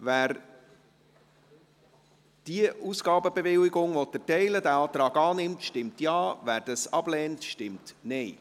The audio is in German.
Wer diese Ausgabenbewilligung erteilen möchte, diesen Antrag annimmt, stimmt Ja, wer dies ablehnt, stimmt Nein.